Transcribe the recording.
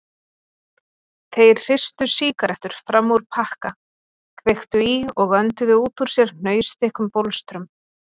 Þeir hristu sígarettur fram úr pakka, kveiktu í og önduðu út úr sér hnausþykkum bólstrum.